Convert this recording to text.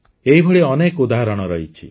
ଏହିଭଳି ଅନେକ ଉଦାହରଣ ରହିଛି